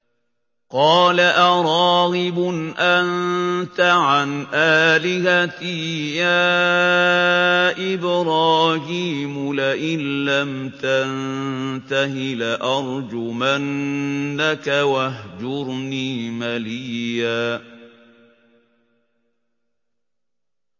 قَالَ أَرَاغِبٌ أَنتَ عَنْ آلِهَتِي يَا إِبْرَاهِيمُ ۖ لَئِن لَّمْ تَنتَهِ لَأَرْجُمَنَّكَ ۖ وَاهْجُرْنِي مَلِيًّا